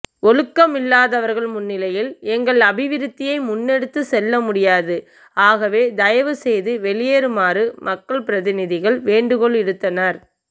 ஒழுக்கம் இல்லாதவர்கள் முன்னிலையில் எங்கள் அபிவிருத்தியை முன்னெடுத்து செல்லமுடியாது ஆகவே தயவு செய்து வெளியேறுமாறும் மக்கள் பிரதிநிதிகள் வேண்டுகோள் இடுத்தனர்